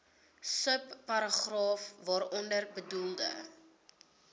subparagraaf waaronder bedoelde